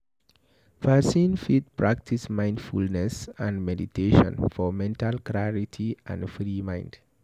Person fit practice mindfulness and meditation for mental clarity and free mind